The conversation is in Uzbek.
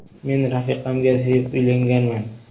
Men rafiqamga sevib uylanganman.